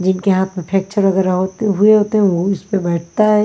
उनके हाथ में फैक्चर वगैरह हुए होते हैं वो इस पे बैठता है।